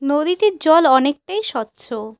নদীতে জল অনেকটাই স্বচ্ছ।